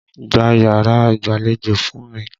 Gbá yàrá ìgbàlejò fún mi!